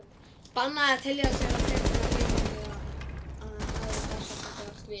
Bannað að telja á sér tærnar heima á meðan aðrir dansa frá sér allt vit.